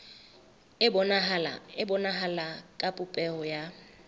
e bonahala ka popeho ya